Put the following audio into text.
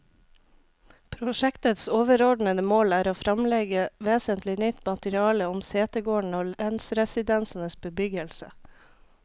Prosjektets overordede mål er å fremlegge vesentlig nytt materiale om setegårdene og lensresidensenes bebyggelse.